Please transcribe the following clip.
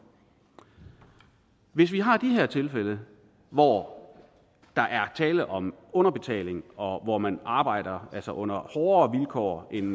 hvis vi har de her tilfælde hvor der er tale om underbetaling og hvor man arbejder under hårdere vilkår end